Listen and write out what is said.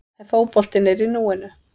En fótboltinn er í núinu.